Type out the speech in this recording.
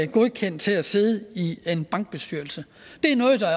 godkendt til at sidde i en bankbestyrelse det er noget der